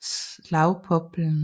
Slagpoplen